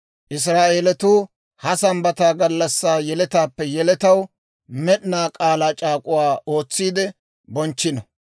Israa'eelatuu ha Sambbataa gallassaa yeletaappe yeletaw med'ina k'aalaa c'aak'uwaa ootsiide bonchchino.